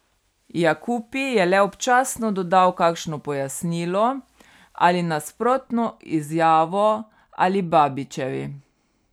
Jakupi je le občasno dodal kakšno pojasnilo ali nasprotno izjavo Alibabićevi.